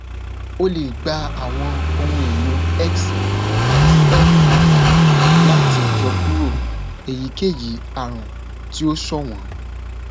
o le gba awọn ohunelo x ati mri lati yọkuro eyikeyi arun ti o ṣọwọn